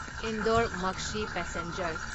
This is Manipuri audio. ꯏꯟꯗꯣꯔ ꯃꯛꯁꯤ ꯄꯦꯁꯦꯟꯖꯔ